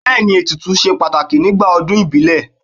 Bẹẹni, ètùtù ṣe pàtàkì nígbà ọdún ìbílẹ̀.